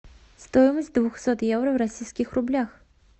стоимость двухсот евро в российских рублях